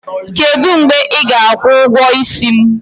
Kedụ mgbe ị ga-akwụ ụgwọ isi m?